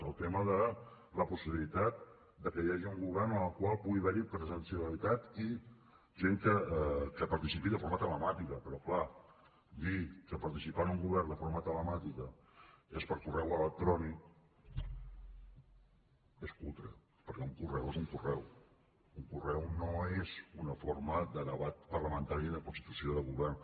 el tema de la possibilitat de que hi hagi un govern en el qual pugui haver hi presencialitat i gent que hi participi de forma telemàtica però clar dir que participar en un govern de forma telemàtica és per correu electrònic és cutre perquè un correu és un correu un correu no és una forma de debat parlamentari ni de constitució de govern